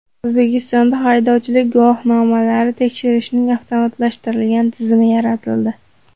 O‘zbekistonda haydovchilik guvohnomalarini tekshirishning avtomatlashtirilgan tizimi yaratildi.